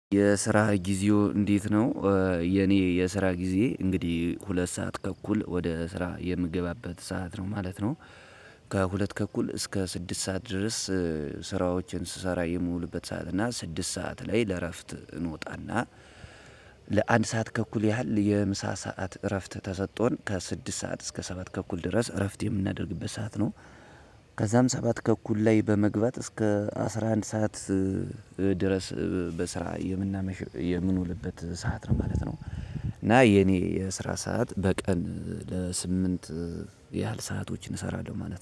የስራህ ጊዜው እንዴት ነው የኔ የስራ ጊዜ እንግዲህ ሁለት ሰዓት ተእኩል ወደ ስራ የምገባበት ሰዓት ነው ማለት ነው። ከሁለት ከኩል እስከ ስድስት ሰዓት ድረስ ስራዎችን ስሰራ የሚውሉበት ሰዓት እና ስድስት ሰዓት ላይ ለእረፍት እንወጣና ለአንድ ሰዓት ተእኩል ያህል የምሳ ሰዓት እረፍት ተሰጦን ከስድስት ሰዓት እስከ ሰባት ተኩል ድረስ እረፍት የምናደርግበት ሰዓት ነው ከዛም ሰባት ተኩል ላይ በመግባት እስከ አስራ አንድ ሰዓት ድረስ በስራ የምንውልበት ሰዓት ነው ማለት ነው። እና የኔ የስራ ሰዓት በቀን ለስምንት ያህል ሰአቶችን እሰራለሁ ማለት ነው።